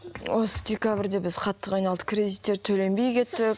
осы декабрьде біз қатты қиналдық кредиттер төленбей кетті